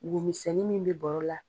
Womisɛnni min bɛ bɔrɔ la.